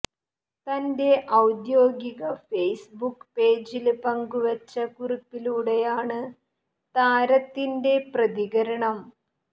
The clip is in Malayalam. തന്റെ ഔദ്യോഗിക ഫേസ്ബുക്ക് പേജില് പങ്കുവച്ച കുറിപ്പിലൂടെയാണ് താരത്തിന്റെ പ്രതികരണം